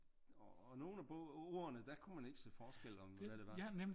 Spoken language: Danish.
Og nogle af ordene der kunne man ikke se forskel om hvad det var